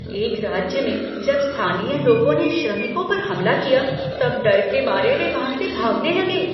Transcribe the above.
एक राज्य में जब स्थानीय लोगों ने श्रमिकों पर हमला किया तब डर के मारे वे वहाँ से भागने लगे।